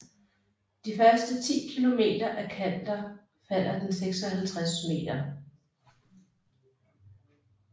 De første 10 kilometer af Kander falder den 650 meter